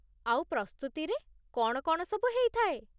ଆଉ ପ୍ରସ୍ତୁତିରେ କ'ଣ କ'ଣ ସବୁ ହେଇଥାଏ ?